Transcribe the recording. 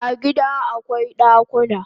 A gida akwai dakuna